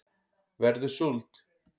verður súld